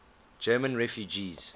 german refugees